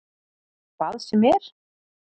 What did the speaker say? Hvað sem er?